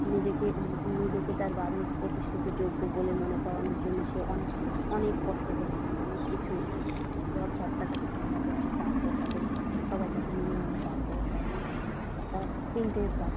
নিজেকে তার বাড়ির প্রতিষ্ঠিত যোগ্য বলে মনে করানোর জন্যে সে অনেক কষ্ট করে অনেক কিছু ঝ ড় ঝাঁপটা তাকে সামলাতে হয় তারপর তাদের একটা তিনটে।